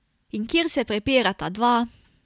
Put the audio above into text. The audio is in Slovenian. In kjer se prepirata dva...